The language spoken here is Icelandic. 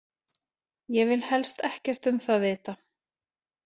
Ég vil helst ekkert um það vita.